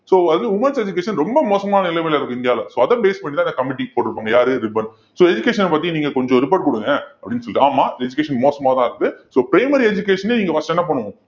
so அதுவும் womens education ரொம்ப மோசமான நிலைமயில இருக்கு இந்தியாவுல so அதை base பண்ணிதான் இந்த committee போட்டிருப்பாங்க யாரு ரிப்பன் so education அ பத்தி நீங்க கொஞ்சம் report குடுங்க அப்படின்னு சொல்லிட்டு ஆமா education மோசமாதான் இருந்தது so primary education ஏ நீங்க first என்ன பண்ணுவோம்